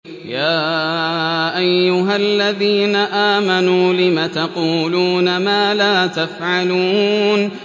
يَا أَيُّهَا الَّذِينَ آمَنُوا لِمَ تَقُولُونَ مَا لَا تَفْعَلُونَ